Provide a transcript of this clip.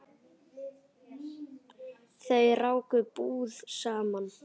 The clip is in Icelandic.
Þau ráku búð saman.